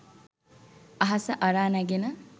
අහස අරා නැගෙන